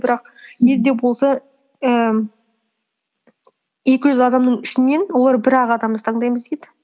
бірақ не де болса ііі екі жүз адамның ішінен олар бір ақ адамды таңдаймыз дейді